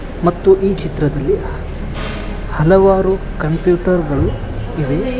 ಮತ್ತು ಈ ಚಿತ್ರದಲ್ಲಿ ಹಲವಾರು ಕಂಪ್ಯೂಟರ್ ಗಳು ಇವೆ.